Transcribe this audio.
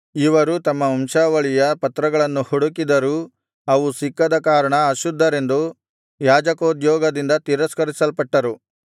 ಇವರು ತಮ್ಮ ವಂಶಾವಳಿಯ ಪತ್ರಗಳನ್ನು ಹುಡುಕಿದರೂ ಅವು ಸಿಕ್ಕದ ಕಾರಣ ಅಶುದ್ಧರೆಂದು ಯಾಜಕೋದ್ಯೋಗದಿಂದ ತಿರಸ್ಕರಿಸಲ್ಪಟ್ಟರು